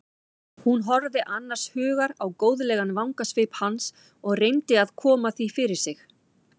Hún horfði annars hugar á góðlegan vangasvip hans og reyndi að koma því fyrir sig.